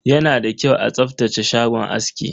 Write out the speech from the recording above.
Yana da kyau a tsaftace shagon aski.